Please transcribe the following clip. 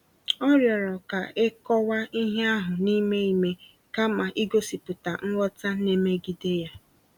O rịọrọ ka e kọwaa ihe ahụ n’ime ime kama igosipụta nghọta na-emegide ya.